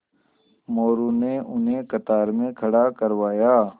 मोरू ने उन्हें कतार में खड़ा करवाया